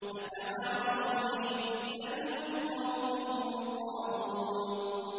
أَتَوَاصَوْا بِهِ ۚ بَلْ هُمْ قَوْمٌ طَاغُونَ